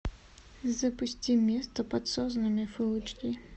запусти место под соснами фул эйч ди